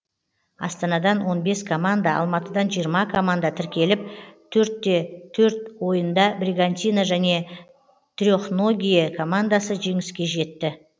астанадан он бес команда алматыдан жиырма команда тіркеліп төртте төрт ойында бригантина және трехногие командасы жеңіске жетті